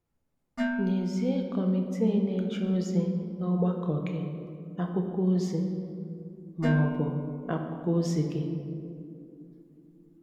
Nyézìe kọ́mitii na-eje ozi n’ọ̀gbàkọ̀ gị akwụkwọ ozi ma ọ̀bụ̀ akwụkwọ ozi gị.